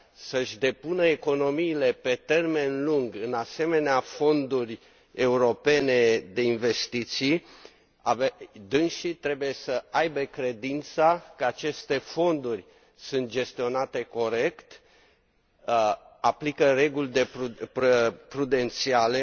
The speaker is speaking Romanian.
să și depună economiile pe termen lung în asemenea fonduri europene de investiții, dânșii trebuie să aibă credința că aceste fonduri sunt gestionate corect, aplică reguli prudențiale,